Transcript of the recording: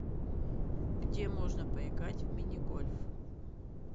где можно поиграть в мини гольф